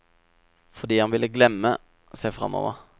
Fordi han ville glemme, se fremover.